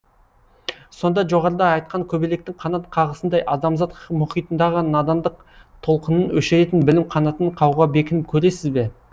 сонда жоғарыда айтқан көбелектің қанат қағысындай адамзат мұхитындағы надандық толқынын өшіретін білім қанатын қағуға бекініп көресіз бе